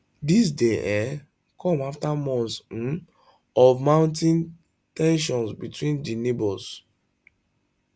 dis dey um come after months um of mounting ten sions between di neighbours